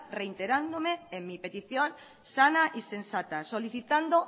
reiterándome en mi petición sana y sensata solicitando